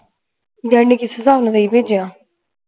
daddy ਨੇ ਕਿਸ ਹਿਸਾਬ ਨਾਲ ਤੇਈ ਭੇਜਿਆ